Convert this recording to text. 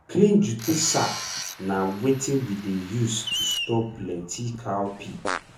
clean jute sack na wetin we dey use to store plenty cowpea.